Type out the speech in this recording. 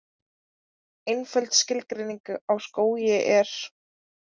Einföld skilgreining á skógi er: